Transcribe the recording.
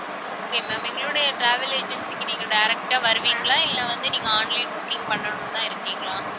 okay ma'am எங்களுடைய travel agency க்கு நீங்க direct ஆ வருவீங்களா இல்லை வந்து, நீங்க online booking பண்ணணும்தான் இருக்கீங்களா